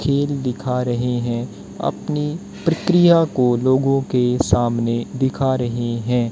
खेल दिखा रहे हैं अपनी प्रक्रिया को लोगों के सामने दिखा रहे हैं।